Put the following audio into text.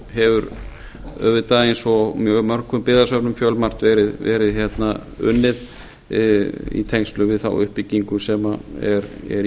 hefur auðvitað eins og í mjög mörgum byggðasöfnum fjölmargt verið unnið í tengslum við þá uppbyggingu sem er í